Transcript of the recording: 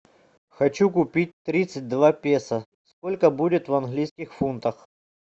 хочу купить тридцать два песо сколько будет в английских фунтах